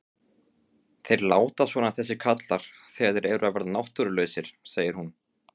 Þeir láta svona þessir karlar þegar þeir eru að verða náttúrulausir, segir hún.